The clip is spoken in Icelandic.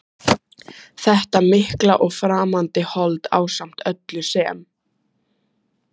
Þetta mikla og framandi hold ásamt öllu sem